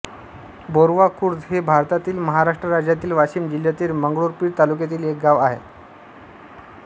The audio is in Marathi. बोरव्हा खुर्द हे भारतातील महाराष्ट्र राज्यातील वाशिम जिल्ह्यातील मंगरुळपीर तालुक्यातील एक गाव आहे